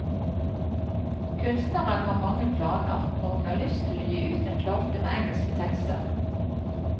Kunstneren har mange planer, og hun har lyst til å gi ut en plate med engelske tekster.